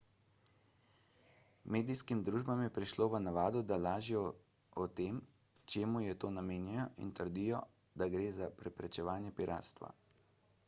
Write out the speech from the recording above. medijskim družbam je prišlo v navado da lažejo o tem čemu je to namenjeno in trdijo da gre za preprečevanje piratstva